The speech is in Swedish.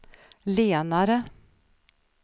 lenare